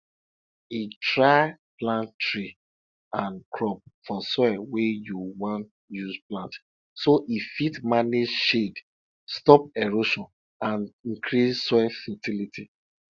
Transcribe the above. e try plant tree and crop for soil wey you wan use plant so e fit manage shade stop erosion and increase soil fertility